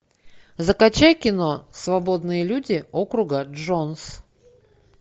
закачай кино свободные люди округа джонс